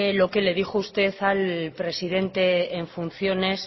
lo que le dijo usted al presidente en funciones